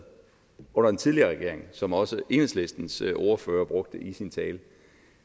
under den tidligere regering som også enhedslistens ordfører brugte i sin tale